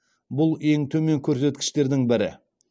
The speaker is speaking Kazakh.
бұл ең төмен көрсеткіштердің бірі